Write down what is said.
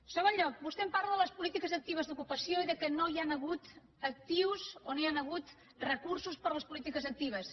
en segon lloc vostè em parla de les polítiques actives d’ocupació i del fet que no hi han hagut recursos per a les polítiques actives